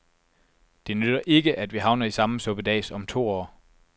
Det nytter ikke, at vi havner i samme suppedas om to år.